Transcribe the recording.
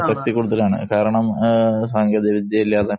പ്രശസ്തി കൂടുതലാണ് കാരണം സാങ്കേതിക വിദ്യയില്ലാതെ